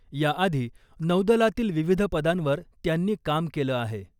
याआधी नौदलातील विविध पदांवर त्यांनी काम केलं आहे .